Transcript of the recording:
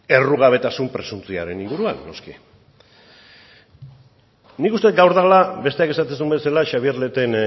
errugabetasun presuntzioaren inguruan noski nik uste dut gaur dela besteak esaten zuen bezala xabier leten